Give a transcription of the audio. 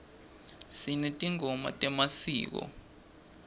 sinetingoma temasiko